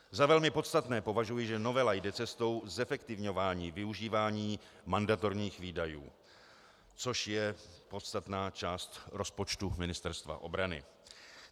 Za velmi podstatné považuji, že novela jde cestou zefektivňování využívání mandatorních výdajů, což je podstatná část rozpočtu Ministerstva obrany.